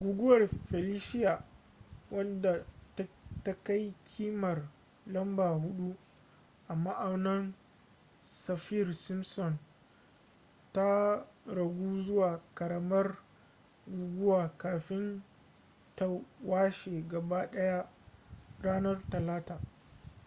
guguwar felicia wadda ta kai kimar lamba 4 a ma'aunin saffir-simpson ta ragu zuwa karamar guguwa kafin ta washe gaba daya ranar talata